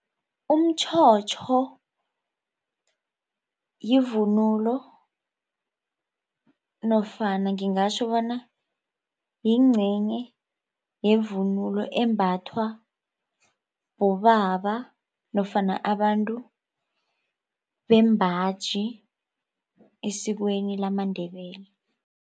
Umtjhotjho yivunulo nofana ngingatjho bona yingcenye yevunulo embathwa bobaba nofana abantu bembaji esikweni lamaNdebele.